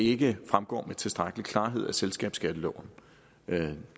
ikke fremgår med tilstrækkelig klarhed af selskabsskatteloven men